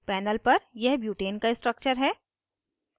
panel पर यह butane का structure है